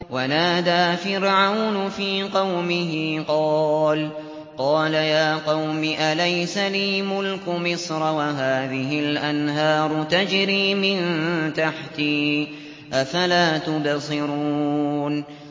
وَنَادَىٰ فِرْعَوْنُ فِي قَوْمِهِ قَالَ يَا قَوْمِ أَلَيْسَ لِي مُلْكُ مِصْرَ وَهَٰذِهِ الْأَنْهَارُ تَجْرِي مِن تَحْتِي ۖ أَفَلَا تُبْصِرُونَ